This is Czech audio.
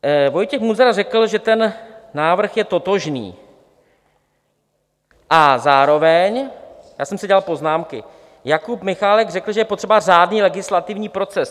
Vojtěch Munzar řekl, že ten návrh je totožný, a zároveň - já jsem si dělal poznámky - Jakub Michálek řekl, že je potřeba řádný legislativní proces.